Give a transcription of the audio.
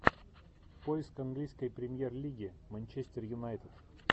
поиск английской премьер лиги манчестер юнайтед